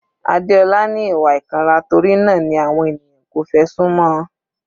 Adeola ni ìwà ìkanra torí náà ni àwọn ènìyàn kò fẹ́ sún mọ́ ọn.